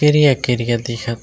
टेरिया-टेरिया दिखत--